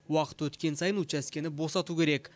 уақыты өткен сайын учаскені босату керек